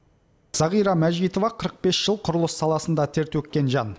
зағира мажитова қырық бес жыл құрылыс саласында тер төккен жан